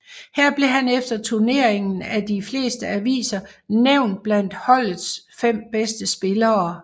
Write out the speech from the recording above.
Her blev han efter turneringen af de fleste aviser nævnt blandt holdets fem bedste spillere